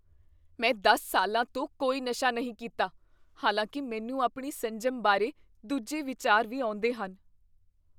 ਮੈਂ ਦਸ ਸਾਲਾਂ ਤੋਂ ਕੋਈ ਨਸ਼ਾ ਨਹੀਂ ਕੀਤਾ, ਹਾਲਾਂਕਿ ਮੈਨੂੰ ਆਪਣੀ ਸੰਜਮ ਬਾਰੇ ਦੂਜੇ ਵਿਚਾਰ ਵੀ ਆਉਂਦੇਹਨ